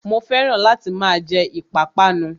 Mo fẹ́ràn láti máa jẹ ìpápánu